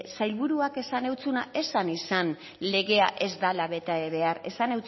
sailburuak esan zuenak ez zan izan legea ez dela bete behar esan